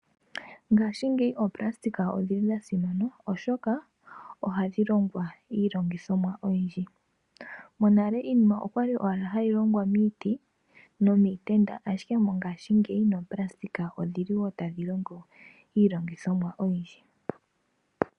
Ngashingeyi oonayilona odhili dhasimana oshoka ohadhi longwa iilongithomwa oyindji. Monale iinima okwali owala hayi longwa miiti nomiitenda. Ihe mongashingeyi noonayilona odhili wo tadhi longo iilongithomwa oyindji.